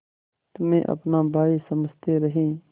तुम्हें अपना भाई समझते रहे